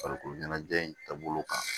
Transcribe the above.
Farikolo ɲɛnajɛ in taabolo kan